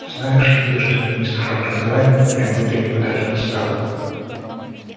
знаешь ли ты что министра образования принудили подать в отставку